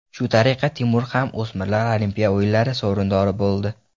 Shu tariqa Timur ham o‘smirlar Olimpiya o‘yinlari sovrindori bo‘ldi.